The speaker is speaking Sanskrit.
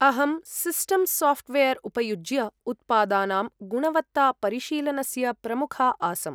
अहं सिस्टम् साफ्ट्वेर् उपयुज्य उत्पादानां गुणवत्तापरिशीलनस्य प्रमुखा आसम्।